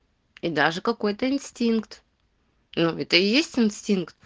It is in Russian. и даже какой-то инстинкт ну это и есть инстинкт